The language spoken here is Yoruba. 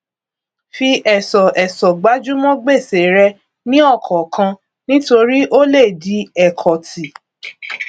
fi ẹsọẹsọ gbájúmọ gbèsè rẹ ní ọkọọkan nítorí ó lè di ẹkọtì